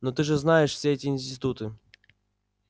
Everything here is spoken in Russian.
но ты же знаешь все эти институты